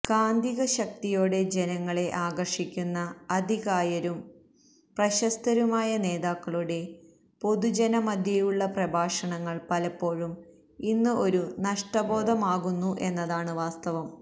കാന്തികശക്തിയോടെ ജനങ്ങളെ ആകര്ഷിക്കുന്ന അതികായരും പ്രശസ്തരുമയ നേതാക്കളുടെ പൊതുജനമദ്ധ്യേയുള്ള പ്രഭാഷണങ്ങള് പലപ്പോഴും ഇന്ന് ഒരു നഷ്ടബോധമാകുന്നു എന്നതാണ് വാസ്തവം